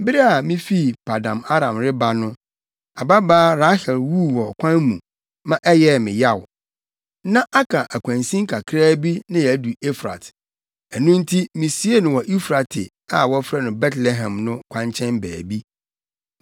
Bere a mifi Paddan-Aram reba no, ababaa Rahel wuu wɔ ɔkwan mu ma ɛyɛɛ me yaw. Na aka akwansin kakraa bi na yɛadu Efrat. Ɛno nti, misiee no wɔ Eufrate, a wɔfrɛ no Betlehem no kwankyɛn baabi.”